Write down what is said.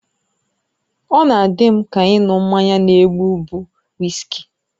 Ọ na-adị m ka ịṅụ mmanya na-egbu bụ wiski